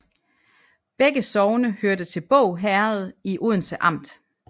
Begge sogne hørte til Båg Herred i Odense Amt